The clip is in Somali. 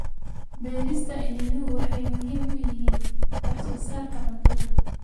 Beerista iniinuhu waxay muhiim u yihiin wax soo saarka cuntada.